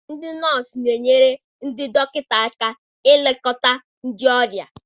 Ndị nọọsụ na-enyere ndị dọkịta aka elekọta ndị ọrịa.